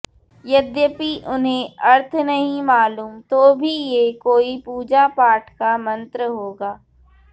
यद्यपि उन्हें अर्थ नहीं मालूम तो भी ये कोई पूजा पाठ का मंत्र होगा